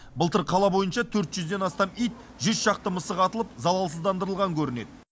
былтыр қала бойынша төрт жүзден астам ит жүз шақты мысық атылып залалсыздандырылған көрінеді